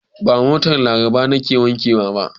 Ba motar Labara ba nake wankewa.